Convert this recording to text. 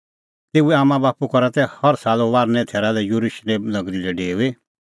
तेऊए आम्मांबाप्पू करा तै हर साल फसहे थैरा लै येरुशलेम नगरी लै डेऊई